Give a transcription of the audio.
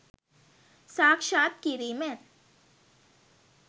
සාක්ෂාත් කිරීමෙන්